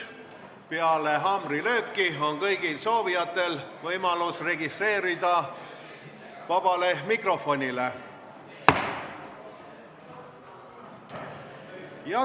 Peale haamrilööki on kõigil soovijatel võimalus registreeruda sõnavõtuks vabas mikrofonis.